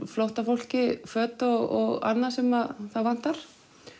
flóttafólki föt og annað sem það vantar